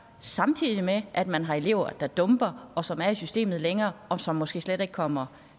samtidig med at man har elever der dumper og som er i systemet længere og som måske slet ikke kommer